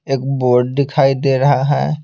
एक बोर्ड दिखाई दे रहा है।